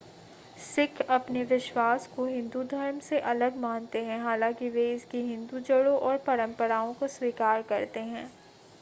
सिख अपने विश्वास को हिंदू धर्म से अलग मानते हैं हालांकि वे इसकी हिंदू जड़ों और परंपराओं को स्वीकार करते हैं